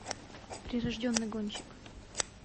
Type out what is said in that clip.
прирожденный гонщик